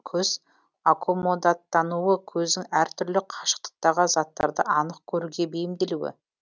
көз аккомодаттануы көздің әр түрлі қашықтықтағы заттарды анық көруге бейімделуі